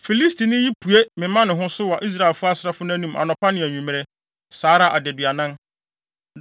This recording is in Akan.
Filistini yi pue mema ne ho so wɔ Israelfo asraafo nʼanim anɔpa ne anwummere, saa ara adaduanan.